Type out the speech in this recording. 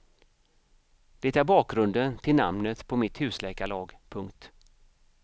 Det är bakgrunden till namnet på mitt husläkarlag. punkt